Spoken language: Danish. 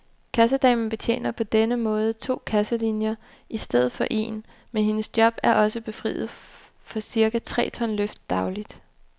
Kassedamen betjener på denne måde to kasselinier i stedet for en, men hendes job er nu også befriet for cirka tre ton løft dagligt.